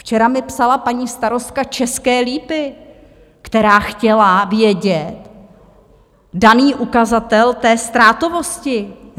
Včera mi psala paní starostka České Lípy, která chtěla vědět daný ukazatel té ztrátovosti.